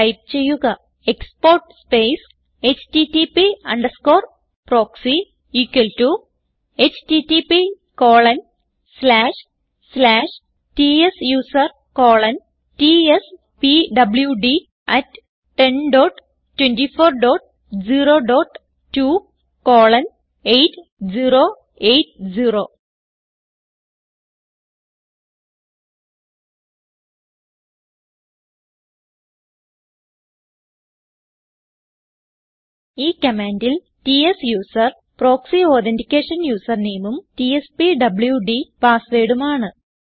type ചെയ്യുക export space HTTP underscore proxy equal to httptsusertspwd1024028080 ഈ കമാൻഡിൽ ട്സൂസർ പ്രോക്സി അതെന്റിക്കേഷൻ usernameഉം ടിഎസ്പിഡിയുഡി passwordഉം ആണ്